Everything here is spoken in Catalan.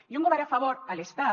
i un govern a favor a l’estat